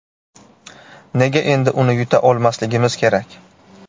Nega endi uni yuta olmasligimiz kerak?